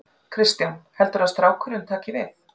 Kristján: Heldurðu að strákurinn taki við?